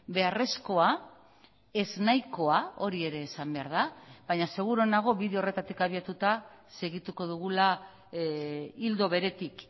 beharrezkoa ez nahikoa hori ere esan behar da baina seguru nago bide horretatik abiatuta segituko dugula ildo beretik